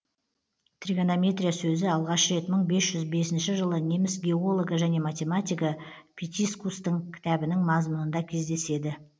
тригонометрия сөзі алғаш рет мың бес жүз бесінші жылы неміс геологы және математигі питискустың кітабының мазмұнында кездеседі